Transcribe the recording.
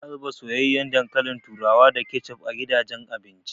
Ana zuba soyayyen dankalin turawa da kecef a gidajen abinci.